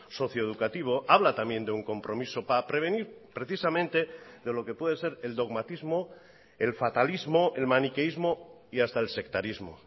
socioeducativo habla también de un compromiso para prevenir precisamente de lo que puede ser el dogmatismo el fatalismo el maniqueísmo y hasta el sectarismo